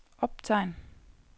optegn